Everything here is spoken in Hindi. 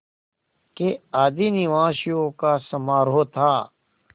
के आदिनिवासियों का समारोह था